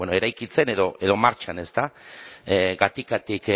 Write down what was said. eraikitzen edo martxan gatikatik